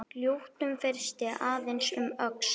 Lítum fyrst aðeins um öxl.